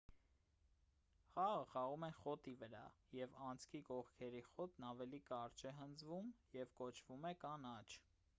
խաղը խաղում են խոտի վրա և անցքի կողքերի խոտն ավելի կարճ է հնձվում և կոչվում է կանաչ